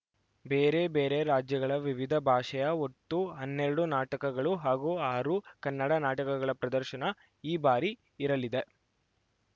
ಬೇರೆ ಬೇರೆ ರಾಜ್ಯಗಳ ವಿವಿಧ ಭಾಷೆಯ ಒಟ್ಟು ಹನ್ನೆರಡು ನಾಟಕಗಳು ಹಾಗೂ ಆರು ಕನ್ನಡ ನಾಟಕಗಳ ಪ್ರದರ್ಶನ ಈ ಬಾರಿ ಇರಲಿದೆ